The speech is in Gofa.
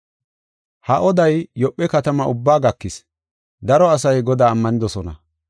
Ha oday, Yoophe katama ubbaa gakis; daro asay Godaa ammanidosona.